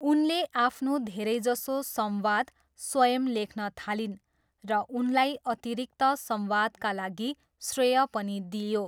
उनले आफ्नो धेरैजसो संवाद स्वयं लेख्न थालिन् र उनलाई अतिरिक्त संवादका लागि श्रेय पनि दिइयो।